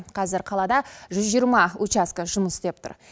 қазір қалада жүз жиырма учаскі жұмыс істеп тұр